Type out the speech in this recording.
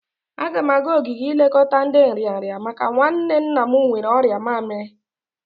Agam aga ogige ilekọta ndi nrịanrị maka nwanne nna m nwere ọrịa mamiri.